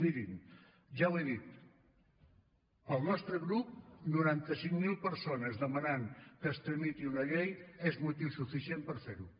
mirin ja ho he dit pel nostre grup noranta cinc mil persones demanant que es tramiti una llei és motiu suficient per fer ho